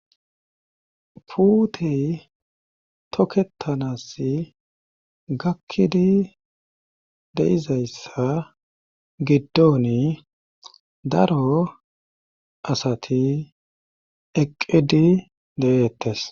Puutey tokketanass gakkidi deizayssa giddoni daro asati eqqidi de'eettes.